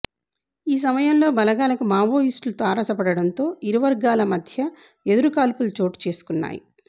ఈ సమయంలో బలగాలకు మావోయిస్టులు తారసపడడంతో ఇరువర్గాల మధ్య ఎదురు కాల్పులు చోటుచేసుకున్నాయి